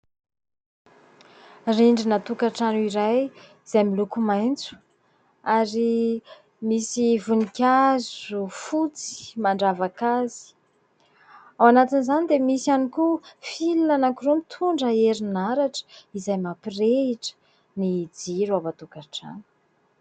Rindrina tokantrano iray izay miloko maitso ary misy voninkazo fotsy mandravaka azy. Ao anatin'izany dia misy ihany koa "fil" anankiroa mitondra herinaratra izay mampirehitra ny jiro ao an-tokantrano